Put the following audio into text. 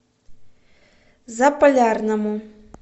заполярному